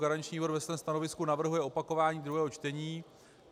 Garanční výbor ve svém stanovisku navrhuje opakování druhého čtení.